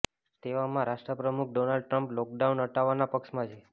તેવામાં રાષ્ટ્ર પ્રમુખ ડોનાલ્ડ ટ્રમ્પ લોકડાઉન હટાવવાના પક્ષમાં છે